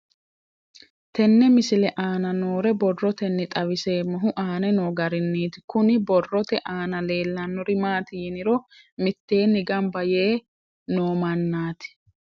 Tenne misile aana noore borroteni xawiseemohu aane noo gariniiti. Kunni borrote aana leelanori maati yiniro miteenni gamba yee noo manaati.